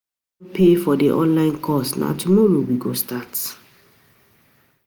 We don pay for the online course na tomorrow we go start